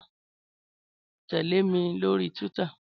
Tèlé mi lóri túwìtá